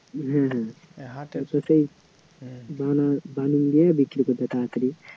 হ্যাঁ হ্যাঁ বানিয়ে দিয়ে বিক্রী করে দেয় তাড়াতাড়ি